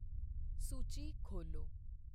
ਸੂਚੀ ਖੋਲ੍ਹੋ